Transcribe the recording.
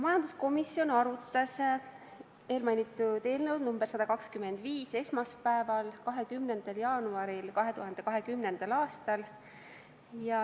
Majanduskomisjon arutas eelmainitud eelnõu nr 125 esmaspäeval, 20. jaanuaril 2020. aastal.